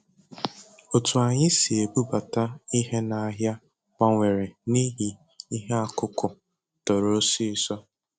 Otu anyị si ebubata ihe n’ahịa gbanwere n’ihi ihe akụkụ toro ọsịịso